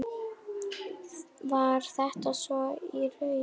Var þetta svo í raun?